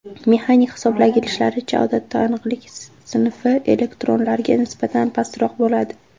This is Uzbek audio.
Mexanik hisoblagichlarda, odatda aniqlik sinfi elektronlarga nisbatan pastroq bo‘ladi.